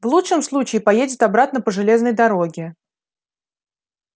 в лучшем случае поедет обратно по железной дороге